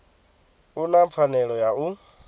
u na pfanelo ya u